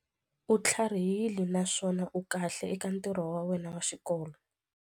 U tlharihile naswona u kahle eka ntirho wa xikolo.